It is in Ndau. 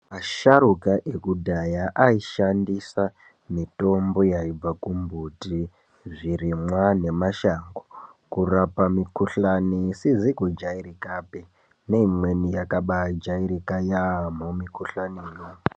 Asharuka ekudhaya aishandisa mitombo yaibha kumbuti zvirimwa nemashango. Kurapa mikuhlani isizi kujairikapi neimweni yakabajairika yaamho mikuhlaniyo.